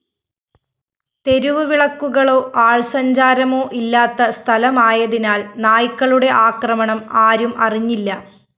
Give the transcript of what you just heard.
തെരുവുവിളക്കുകളോ ആള്‍സഞ്ചാരമോ ഇല്ലാത്ത സ്ഥലമായതിനാല്‍ നായ്ക്കളുടെ ആക്രമണം ആരും അറിഞ്ഞില്ല